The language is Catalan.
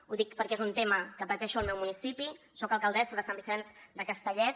ho dic perquè és un tema que pateixo al meu municipi soc alcaldessa de sant vicenç de castellet